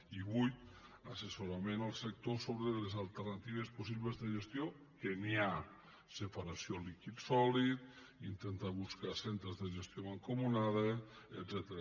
i vuit assessorament al sector sobre les alternatives possibles de gestió que n’hi ha separació líquid sòlid intentar buscar centres de gestió mancomunada etcètera